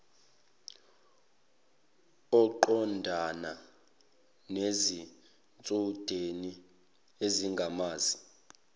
uqondana nezitshudeni ezingamazi